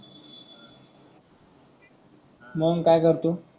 मग काय करतो